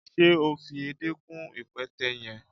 Se o fi èdé kún ipẹtẹ yẹn?